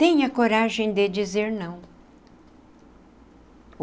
Tenha coragem de dizer não.